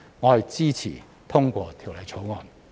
我支持通過《條例草案》。